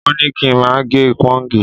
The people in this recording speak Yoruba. Wọn ní kí n má gẹ pọ́ǹgì